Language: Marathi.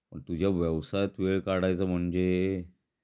तुझ्या व्यवसायात वेळ काढायचा म्हणजे,